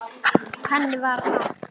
Hann var henni allt.